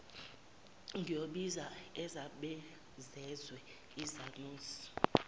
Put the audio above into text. ngiyobiza uzabazezwe isanusi